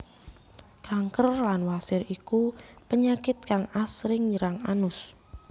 Kanker lan wasir iku penyakit kang asring nyerang anus